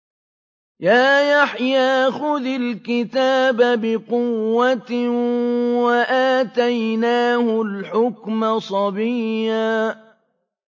يَا يَحْيَىٰ خُذِ الْكِتَابَ بِقُوَّةٍ ۖ وَآتَيْنَاهُ الْحُكْمَ صَبِيًّا